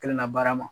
Kelenna baara ma